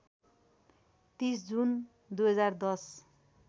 ३० June २०१०